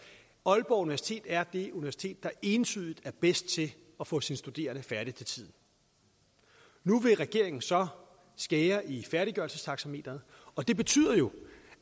at aalborg universitet er det universitet der entydigt er bedst til at få sine studerende færdig til tiden nu vil regeringen så skære i færdiggørelsestaxameteret og det betyder jo